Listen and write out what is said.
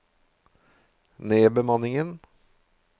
nedbemanningen